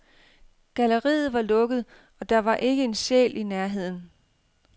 Galleriet var lukket, og der var ikke en sjæl i nærheden.